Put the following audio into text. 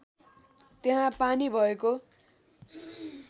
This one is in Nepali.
त्यहाँ पानी भएको